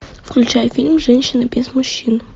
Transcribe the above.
включай фильм женщина без мужчин